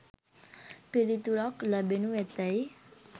පිළිතුරක් ලැබෙනු ඇතැයි